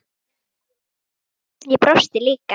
Ég brosti líka.